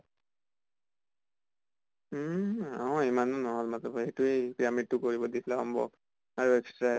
উম অহ ইমানো নহল মত্লব সেইটোয়ে pyramid টো কৰিব দিছিলে homework আৰু extra এটা